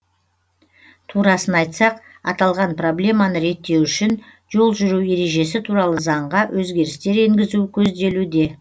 турасын айтсақ аталған проблеманы реттеу үшін жол жүру ережесі туралы заңға өзгерістер енгізу көзделуде